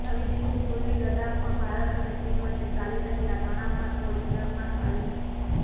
નવી દિલ્હીઃ પૂર્વી લદ્દાખમાં ભારત અને ચીન વચ્ચે ચાલી રહેલા તણાવમાં થોડી નરમાશ આવી છે